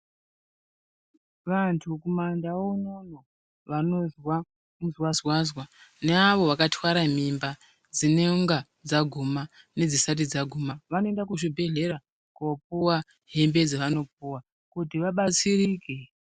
Vantu kumandau unono vanozwa mizwazwaza neavo vakatwara mimba dzinenge dzaguma nedzisati dzaguma vanoenda kuzvibhedhlera kopuwa hembe dzavanopuwa kuti vabatsirike.